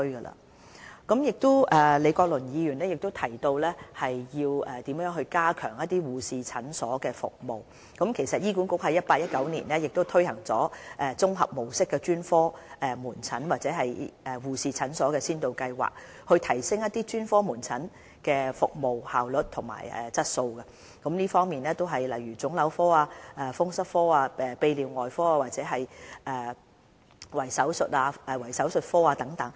李國麟議員曾提及如何加強護士診所服務這點。醫管局於 2018-2019 年度推行綜合模式專科門診服務先導計劃，以提升專科門診服務的效率和質素，涵蓋臨床腫瘤科、風濕科、泌尿外科及圍手術科等。